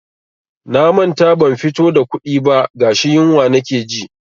Na manta ban fito da kuɗi ba gashi yunwa nake ji.